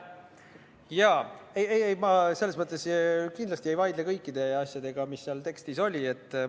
Jaa, ei-ei, ma selles mõttes kindlasti ei vaidle vastu kõikidele asjadele, mis seal tekstis oli.